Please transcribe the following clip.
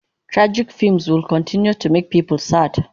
Tragic fims will continue to make people sad